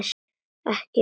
Ekki köld.